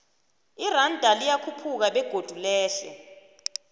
iranda liyakhuphuka begodu lehle